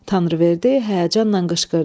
Tanrıverdi həyəcanla qışqırdı: